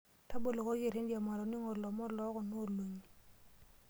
Tabolokoki erendio matoning'o ilomon loo kuna olong'i.